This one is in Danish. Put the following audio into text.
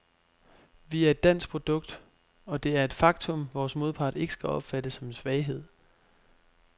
Vi er et dansk produkt, og det er et faktum, vores modpart ikke skal opfatte som en svaghed.